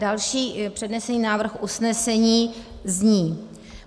Další přednesený návrh usnesení zní: